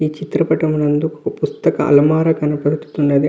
ఈ చిత్రం పాఠము నందు ఒక పుస్తక అలమర కనబడుతున్నది.